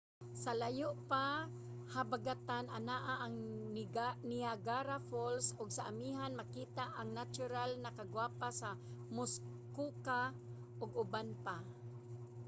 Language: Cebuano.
sa layo nga habagatan anaa ang niagara falls ug sa amihan makita ang natural na kagwapa sa muskoka ug uban pa